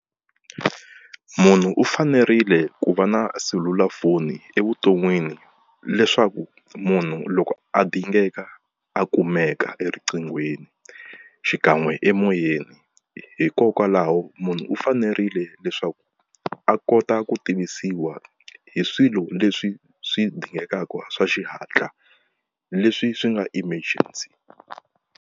Munhu u fanerile ku va na selulafoni evuton'wini leswaku munhu loko a dingeka a kumeka eriqinghweni xikan'we emoyeni hikokwalaho munhu u fanerile leswaku a kota ku tivisiwa hi swilo leswi swi dingekaku swa xihatla leswi swi nga emergency.